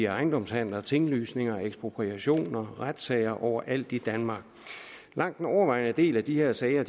ejendomshandler tinglysninger ekspropriationer retssager overalt i danmark langt den overvejende del af de her sager